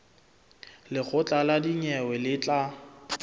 lekgotla la dinyewe le tla